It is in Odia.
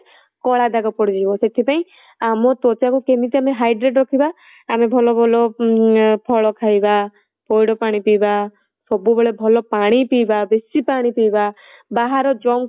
କଳା ଦାଗ ପଡିଯିବ ସେଥିପାଇଁ ଆମ ତ୍ୱଚା କୁ ଆମେ କେମିତି hydrate ରଖିବା ଆମେ ଭଲ ଭଲ ଅଁ ଫଳ ଖାଇବା, ପଇଡ ପାଣି ପିଇବା, ବେଶୀ ପାଣି ପିଇବା ବାହାର junks